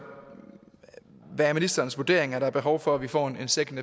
hvad er ministerens vurdering er der behov for at vi får en second